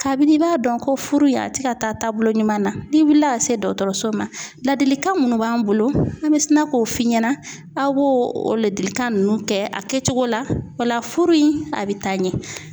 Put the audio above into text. Kabini i b'a dɔn ko furu in a ti ka taa taabolo ɲuman na, ni wulila ka se dɔgɔtɔrɔso ma ladilikan munnu b'an bolo an be sina k'o f'i ɲɛna, aw b'o o ladilikan ninnu kɛ a kɛcogo la o la furu in a bɛ taa ɲɛ .